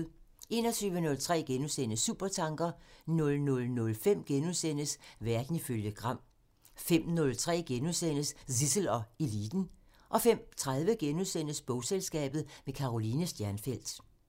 21:03: Supertanker *(tir) 00:05: Verden ifølge Gram *(tir) 05:03: Zissel og Eliten *(tir) 05:30: Bogselskabet – med Karoline Stjernfelt *